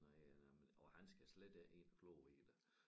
Nej ja nemlig og han skal slet ikke ind og kloge i det